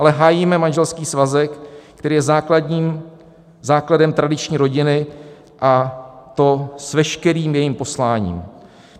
Ale hájíme manželský svazek, který je základem tradiční rodiny, a to s veškerým jejím posláním.